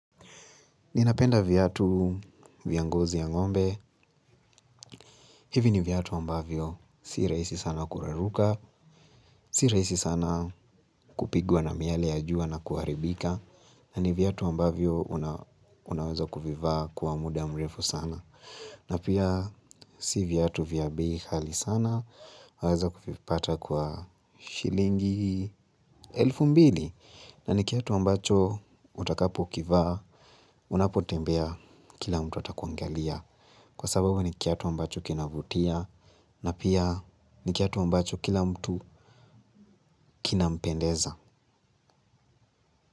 Ninapenda viatu vya ngozi ya ng'ombe, hivi ni viatu ambavyo si rahisi sana kuraruka, si rahisi sana kupigwa na miale ya jua na kuharibika, na ni viatu ambavyo unaweza kuvivaa kwa muda mrefu sana. Na pia si viatu vya bei ghali sana, waeza kuvipata kwa shilingi elfu mbili na ni kiatu ambacho utakapo kivaa, unapotembea kila mtu atakuangalia kwa sababu ni kiatu ambacho kinavutia na pia ni kiatu ambacho kila mtu kinampendeza.